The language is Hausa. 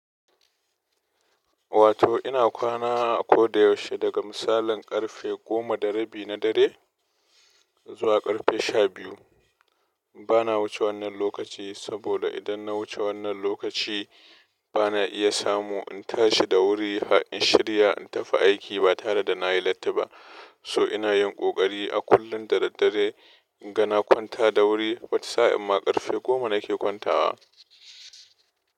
Wato ina kwana a koda yaushe daga misalin karfe goma da rabi na dare zuwa karfe shabiyu. Bana wuce wannan lokaci saboda idan na wuce wannan lokaci bana iya samu in tashi da wuri in shirya in tafi aiki ba tare da na yi latti ba. So ina yin kokari a kullun da daddare in gan na kwanta da wuri, watasa'in ma ƙarfe goma nake kwantawa.